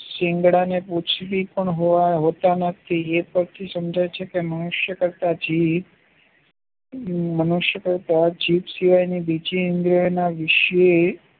સીંગડાને પૂંછડી પણ હોતા નથી સમજાય છે કે મનુષ્ય કરતા જીવ મનુષ્ય કરતા જીભ સિવાયની કરતા બીજી ઈન્દ્રીઓ ના વિષે